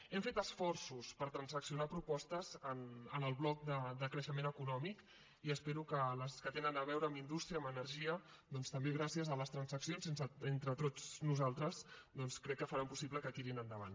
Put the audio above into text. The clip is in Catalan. hem fet esforços per transaccionar propostes en el bloc de creixement econòmic i espero que les que tenen a veure amb indústria amb energia també gràcies a les transaccions entre tots nosaltres doncs crec que faran possible que tirin endavant